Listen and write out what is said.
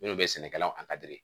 Minnu bɛ sɛnɛkɛlaw